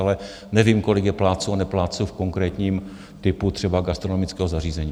Ale nevím, kolik je plátců a neplátců v konkrétním typu třeba gastronomického zařízení.